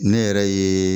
Ne yɛrɛ ye